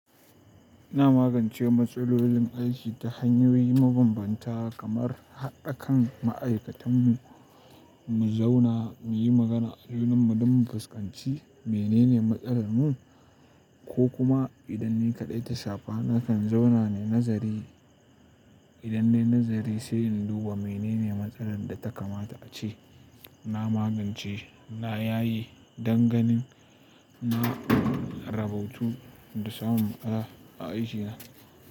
Ina magance matsalolin aiki ta hanyoyi mabambanta kamar haɗa kan ma'aikatanmu, mu zauna mu yi magana a junan mu don mu fuskanci menene matsalar mu ko kuma idan ni kaɗai ta shafa na kan zauna ne nazari. Idan ne nazari sai in duba menene matsalar da ta kamata ace na magance na yayi danganin, na rabautu da samun ƙara a aikina.